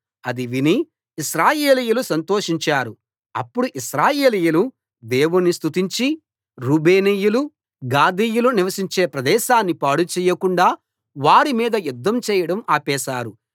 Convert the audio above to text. అది విని ఇశ్రాయేలీయులు సంతోషించారు అప్పుడు ఇశ్రాయేలీయులు దేవుని స్తుతించి రూబేనీయులు గాదీయులు నివసించే ప్రదేశాన్ని పాడు చేయకుండా వారి మీద యుధ్ధం చేయడం ఆపేశారు